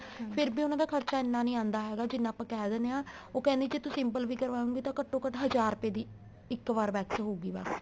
ਫ਼ਿਰ ਉਹਨਾ ਖਰਚਾ ਇੰਨਾ ਨਹੀਂ ਆਦਾ ਹੈਗਾ ਜਿਹਨਾ ਆਪਾਂ ਕਹਿ ਦਿੰਨੇ ਆ ਉਹ ਕਹਿੰਦੀ ਤੂੰ simple ਵੀ ਕਰਵਾਏਗੀ ਤਾਂ ਘੱਟੋ ਘੱਟ ਹਜ਼ਾਰ ਰੁਪਏ ਇੱਕ ਵਾਰੀ wax ਹੋਊਗੀ ਬੱਸ